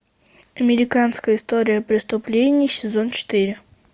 американская история преступлений сезон четыре